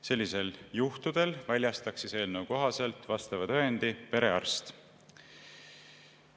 Sellistel juhtudel väljastaks eelnõu kohaselt vastava tõendi perearst.